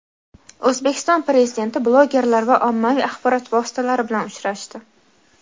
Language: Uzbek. O‘zbekiston Prezidenti blogerlar va ommaviy axborot vositalari bilan uchrashdi.